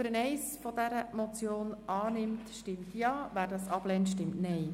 Wer die Ziffer 1 dieser Motion annimmt, stimmt Ja, wer diese ablehnt, stimmt Nein.